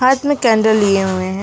हाथ में कैंडल लिए हुए हैं।